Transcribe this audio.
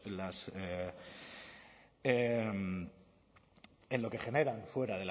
en lo que generan fuera